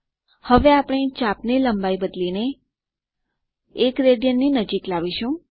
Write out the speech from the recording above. હવે આપણે ચાપ ની લંબાઈ બદલીને 1 રાડ ની નજીક લાવીશું